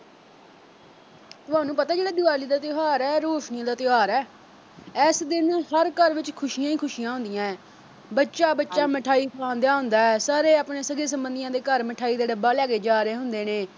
ਤੁਹਾਨੂੰ ਪਤਾ ਇਹ ਜਿਹੜਾ ਦਿਵਾਲੀ ਦਾ ਤਿਉਹਾਰ ਐ ਰੋਸ਼ਨੀ ਦਾ ਤਿਉਹਾਰ ਐ। ਐਸ ਦਿਨ ਹਰ ਘਰ ਵਿੱਚ ਖੁਸ਼ੀਆਂ ਹੀ ਖੁਸ਼ੀਆਂ ਹੁੰਦੀਆਂ ਬੱਚਾ -ਬੱਚਾ ਮਿਠਾਈ ਖਵਾਉਂਣ ਡਿਆ ਹੁੰਦਾ ਸਾਰੇ ਆਪਣੇ ਸਕੇ-ਸੰਬੰਧੀਆਂ ਦੇ ਘਰ ਮਿਠਾਈ ਦਾ ਡੱਬਾ ਲੈ ਕੇ ਜਾ ਰਹੇ ਹੁੰਦੇ ਨੇ।